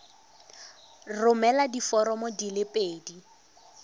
romela diforomo di le pedi